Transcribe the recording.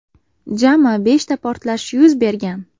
Jami beshta portlash yuz bergan.